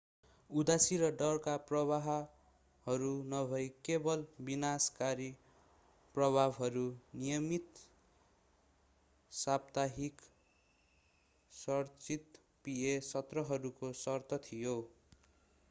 उदासी र डरका प्रभावहरू नभई केवल विनाशकारी प्रभावहरू नियमित साप्ताहिक संरचित pa सत्रहरूको शर्त थियो